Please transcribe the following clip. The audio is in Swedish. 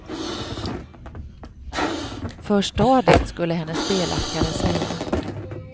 För stadigt skulle hennes belackare säga.